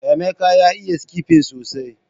Emeka ya iya skipping sosai